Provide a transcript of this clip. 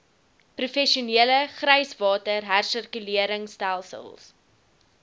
professionele gryswater hersirkuleringstelsels